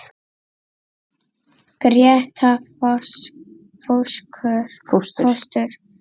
Gréta fóstur.